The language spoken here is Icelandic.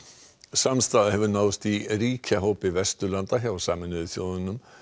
samstaða hefur náðst í ríkjahópi Vesturlanda hjá Sameinuðu þjóðunum